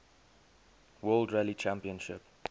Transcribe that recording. world rally championship